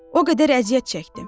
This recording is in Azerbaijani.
O qədər əziyyət çəkdim.